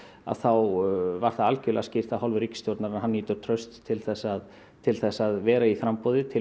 að þá var það algjörlega skýrt af hálfu ríkisstjórnarinnar að hann nýtur trausts til að til að vera í framboði til